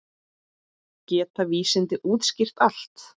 Geta vísindin útskýrt allt?